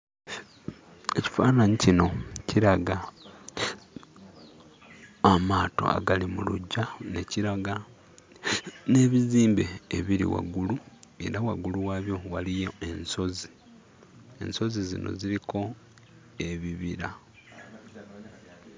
Ekifaananyi kino kiraga amaato agali mu luggya, ne kiraga n'ebizimbe ebiri waggulu era waggulu waabyo waliyo ensozi. Ensozi zino ziriko ebibira.